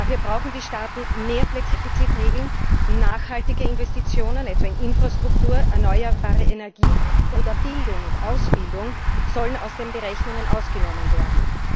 Dafür brauchen die Staaten mehr Flexibilität bei den Defizitregeln. Nachhaltige Investitionen, etwa in Infrastruktur, erneuerbare Energie oder Bildung und Ausbildung, sollen aus den Berechnungen ausgenommen werden.